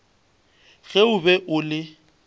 ge o be o le